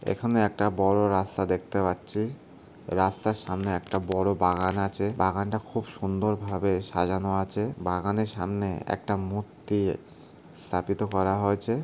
এখানে একটা বড় রাস্তা দেখতে পাচ্ছি রাস্তার সামনে একটা বড় বাগান আছে বাগানটা খুব সুন্দরভাবে সাজানো আছে বাগানে সামনে একটা মূর্তি স্থাপিত করা হয়েছে।